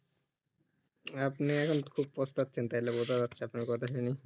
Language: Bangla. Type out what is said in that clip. আপনি এখন খুব পস্তাচ্ছেন তালে বোঝা যাচ্ছে আপনার কথা শুনে